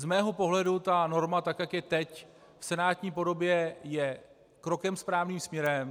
Z mého pohledu ta norma, tak jak je teď v senátní podobě, je krokem správným směrem.